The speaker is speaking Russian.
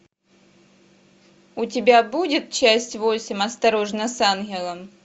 у тебя будет часть восемь осторожно с ангелом